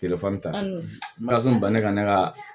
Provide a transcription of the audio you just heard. Telefɔni tasun bannen ka ne ka